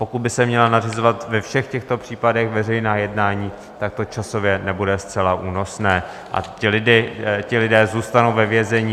Pokud by se měla nařizovat ve všech těchto případech veřejná jednání, tak to časově nebude zcela únosné a ti lidé zůstanou ve vězení.